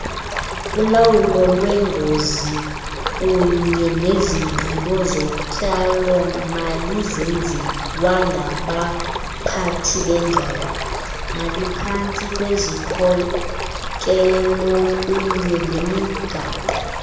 ulawulolwengozikunyenezigqibozotyalo malizenziwangabaphathibengxowa maliphantsikwezikhokelokunyenemigaqo